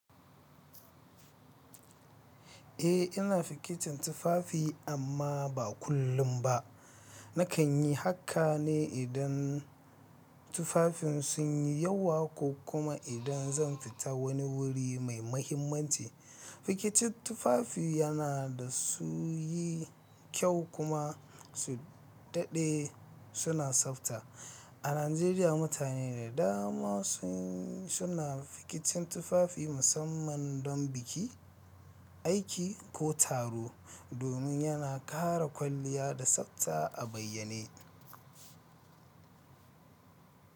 Eh, ina fikitin tufafi amma ba kullum ba. Nakan yi haka ne idan tufafin sun yi yawa ko kuma idan zan fita wani wuri mai mahimmanci. Fikitin tufafi yana da su yi kyau kuma su daɗe suna tsafta. A Najeriya, mutane da dama sun suna fikitin tufafi musamman don biki, aiki ko taro domin yana kara kwalliya da tsafta a bayyane.